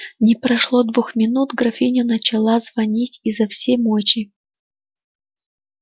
не прошло двух минут графиня начала звонить изо всей мочи